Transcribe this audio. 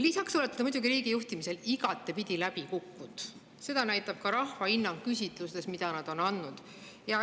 Lisaks olete te muidugi riigi juhtimisel igatepidi läbi kukkunud, seda näitab küsitlustes ka rahva hinnang, mis nad on andnud.